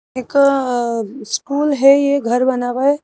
एक स्कूल है घर बना हुआ है।